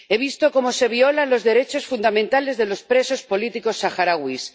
He visto cómo se violan los derechos fundamentales de los presos políticos saharauis.